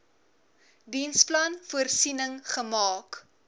diensplan voorsiening gemaak